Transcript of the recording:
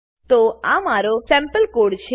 તો આ મારો સેમ્પલ કોડ સેમ્પલ કોડ છે